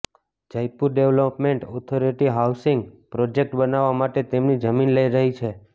Jaipur development authority housing project બનાવવા માટે તેમની જમીન લઈ રહી છે